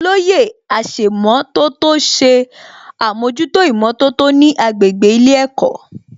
Olóyè aṣèmọ̀tótó ṣe àmójútó ìmọ̀tótó ní agbègbè ilé ẹ̀kọ́